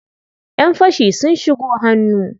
Ƴan fashi sun shigo hannu.